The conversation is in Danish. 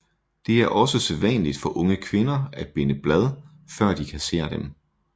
Det er også sædvanligt for unge kvinder at binde blad før de kasserer dem